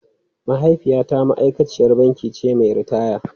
Mahaifiyata ma’aikaciyar banki ce mai ritaya.